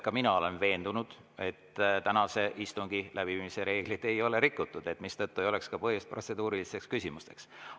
Ka mina olen veendunud, et tänase istungi läbiviimise reegleid ei ole rikutud, mistõttu ei ole ka põhjust protseduurilisteks küsimusteks.